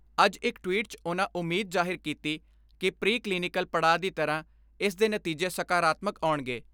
ਅੱਜ ਇਕ ਟਵੀਟ 'ਚ ਉਨ੍ਹਾਂ ਉਮੀਦ ਜ਼ਾਹਿਰ ਕੀਤੀ ਕਿ ਪ੍ਰੀ ਕਲੀਨਿਕਲ ਪੜਾਅ ਦੀ ਤਰ੍ਹਾਂ ਇਸ ਦੇ ਨਤੀਜੇ ਸਕਾਰਾਤਮਕ ਆਉਣਗੇ।